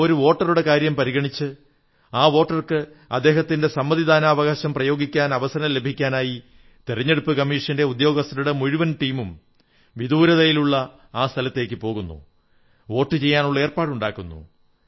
ആ ഒരു വോട്ടറുടെ കാര്യം പരിഗണിച്ച് ആ വോട്ടർക്ക് അദ്ദേഹത്തിന്റെ വോട്ടവകാശം പ്രയോഗിക്കാൻ അവസരം ലഭിക്കാനായി തിരഞ്ഞെടുപ്പു കമ്മീഷന്റെ ഉദ്യോഗസ്ഥരുടെ മുഴുവൻ ടീമും വിദൂരതയിലുള്ള ആ സ്ഥലത്തേക്കു പോകുന്നു വോട്ടു ചെയ്യാനുള്ള ഏർപ്പാടുണ്ടാക്കുന്നു